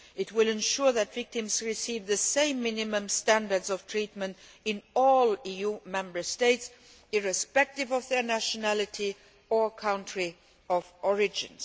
It will ensure that victims receive the same minimum standards of treatment in all EU Member States, irrespective of their nationality or country of origin.